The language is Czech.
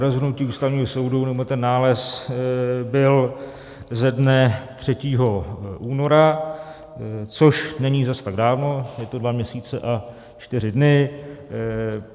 Rozhodnutí Ústavního soudu, nebo ten nález, bylo ze dne 3. února, což není zas tak dávno, je to dva měsíce a čtyři dny.